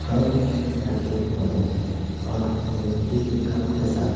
cup रखे हुए हैं और मिट्टी के कप के साथ--